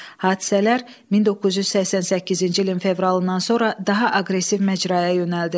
Hadisələr 1988-ci ilin fevralından sonra daha aqressiv məcraya yönəldi.